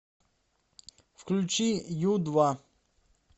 включи ю два